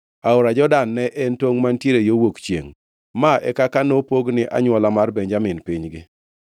Aora Jordan ne en tongʼ mantiere yo wuok chiengʼ. Ma e kaka nopog ni anywola mar Benjamin pinygi.